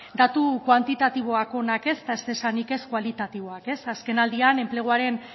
datu kuantitatiboak onak ez eta ez esanik ez kualitatiboak azken aldian enpleguaren